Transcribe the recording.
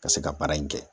Ka se ka baara in kɛ